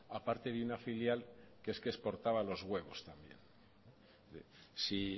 aparte de una filial que es que exportaba los huevos también si